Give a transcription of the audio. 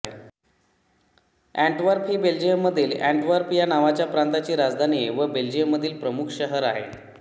Antwerp ही Belgium देशामधील Antwerp या नावाच्या प्रांताची राजधानी व बेल्जियममधील प्रमुख शहर आहे